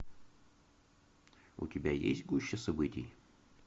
у тебя есть гуща событий